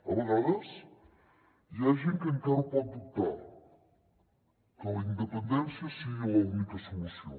a vegades hi ha gent que encara ho pot dubtar que la independència sigui l’única solució